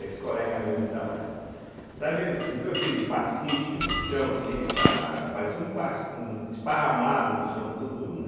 Esse colega meu, ele estava, sabe, viu aquele pastiche no chão, assim, ele estava, parecia um pas um um esparramado no chão, todo, né,